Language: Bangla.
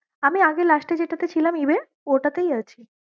আমি আগে last এ যেটাতে ছিলাম Ebay ওটাতেই আছি ।